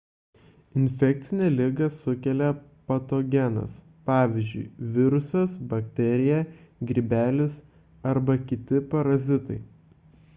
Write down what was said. infekcinę ligą sukelia patogenas pvz. virusas bakterija grybelis arba kiti parazitai